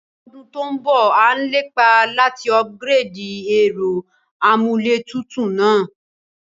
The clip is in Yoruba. Lódún to n bọ̀, a n lépá láti upgrade ẹ́rọ amúlétutù náà